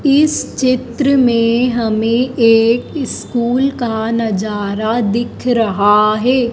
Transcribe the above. इस चित्र मे हमे एक स्कूल का नजारा दिख रहा हैं।